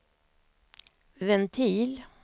ventil